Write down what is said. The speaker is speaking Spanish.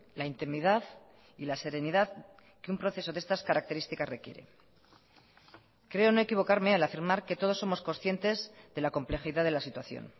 la intimidad y la serenidad que un proceso de estas características requiere creo no equivocarme al afirmar que todos somos conscientes de la complejidad de la situación